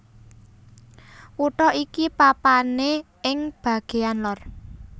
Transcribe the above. Kutha iki papané ing bagéyan lor